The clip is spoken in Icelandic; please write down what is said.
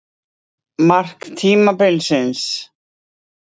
Mark tímabilsins?